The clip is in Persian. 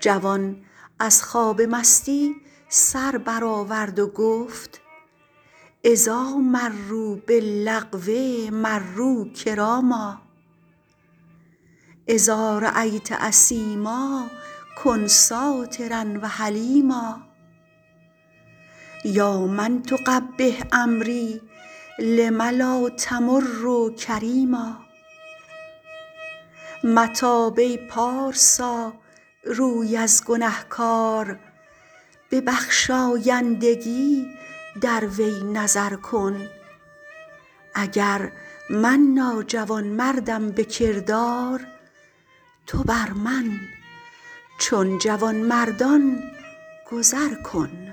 جوان از خواب مستی سر بر آورد و گفت اذاٰ مروا باللغو مروا کراما اذا رأیت اثیما کن سٰاترا و حلیما یا من تقبح امری لم لا تمر کریما متاب ای پارسا روی از گنهکار به بخشایندگی در وی نظر کن اگر من ناجوانمردم به کردار تو بر من چون جوانمردان گذر کن